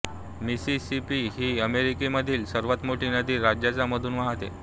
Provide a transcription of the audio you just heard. Mississippi ही अमेरिकेमधील सर्वात मोठी नदी राज्याच्या मधून वाहते